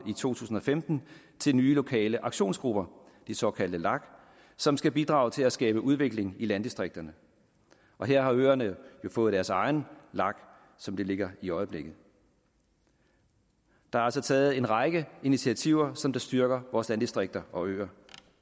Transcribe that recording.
i to tusind og femten til nye lokale aktionsgrupper de såkaldte lager som skal bidrage til at skabe udvikling i landdistrikterne og her har øerne jo fået deres egen lag som det ligger i øjeblikket der er altså taget en række initiativer som styrker vores landdistrikter og øer